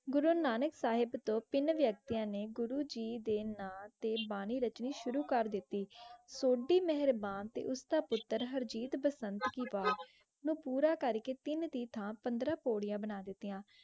गुरो नानक साहेब तो तीन वैक्टीयां ने ने गुरो जे दे न टन बानी राखंरी शोरो कर देत्ती सो ओह्दी मेहेरबानी ते ोसडा पुत्र हरजीत बसंत वो पूरा करके तीन थान डे पन्द्र पन्द्र पूरियां बना दित्य.